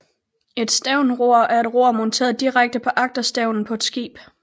Et stævnror er et ror monteret direkte på agterstævnen af et skib